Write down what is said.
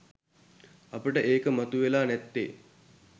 අපට ඒක මතුවෙලා නැත්තේ